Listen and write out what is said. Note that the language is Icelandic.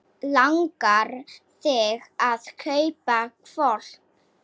Langar þig að kaupa hvolp?